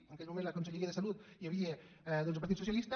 en aquell moment a la conselleria de salut hi havia el partit socialista